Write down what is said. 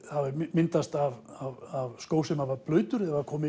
myndast af skó sem var blautur eða kom